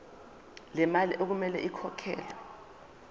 lemali okumele ikhokhelwe